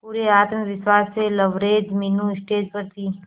पूरे आत्मविश्वास से लबरेज मीनू स्टेज पर थी